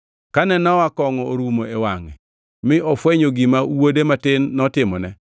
Kane Nowa kongʼo orumo e wangʼe, mi ofwenyo gima wuode matin notimone,